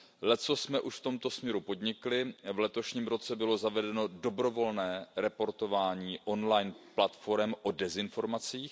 Leccos jsme už v tomto směru podnikli, v letošním roce bylo zavedeno dobrovolné reportování online platforem o dezinformacích.